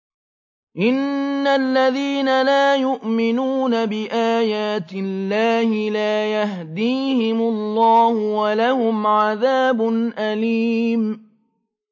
إِنَّ الَّذِينَ لَا يُؤْمِنُونَ بِآيَاتِ اللَّهِ لَا يَهْدِيهِمُ اللَّهُ وَلَهُمْ عَذَابٌ أَلِيمٌ